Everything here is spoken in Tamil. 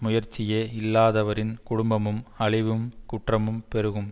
முயற்சியே இல்லாதவரின் குடும்பமும் அழிவும் குற்றமும் பெருகும்